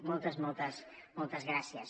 moltes moltes moltes gràcies